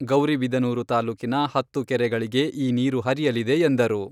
ಗೌರಿಬಿದನೂರು ತಾಲೂಕಿನ ಹತ್ತು ಕೆರೆಗಳಿಗೆ ಈ ನೀರು ಹರಿಯಲಿದೆ ಎಂದರು.